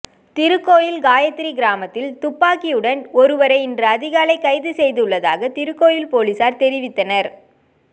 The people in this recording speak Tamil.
திருக்கோவில் காயத்திரி கிராமத்தில் துப்பாக்கியுடன் ஒருவரை இன்று அதிகாலை கைது செய்துள்ளதாக திருக்கோவில் பொலிசார் தெரிவித்தனர்